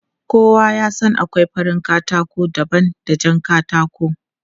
Kowa ya san akwai farin katako daban da jan katako.